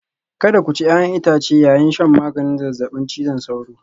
Kada ku ci 'ya'yan itace yayin shan maganin zazzabin cizon sauro